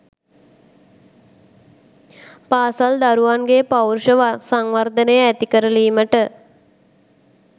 පාසල් දරුවන්ගේ පෞරුෂ සංවර්ධනය ඇතිකරලීමට